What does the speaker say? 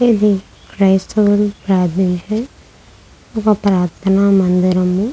ఇది క్రైస్తవులు ప్రార్థించే ఒక ప్రార్ధన మందిరం.